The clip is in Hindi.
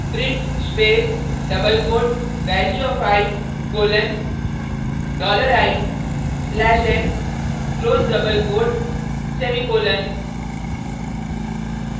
print space double quote value of i colon dollar i slash n close double quote semicolon